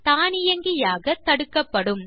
தானியங்கியாக தடுக்கப்படும்